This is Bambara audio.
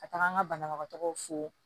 Ka taga an ka banabagatɔw fo